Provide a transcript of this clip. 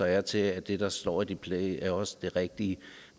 er til at det der står i displayet så også er det rigtige